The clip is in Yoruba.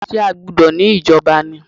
Ṣé a gbúdọ̀ ní ìjọba ni?